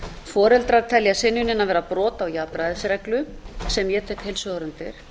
foreldrar telja synjunina vera brot á jafnræðisreglu sem ég tek heilshugar undir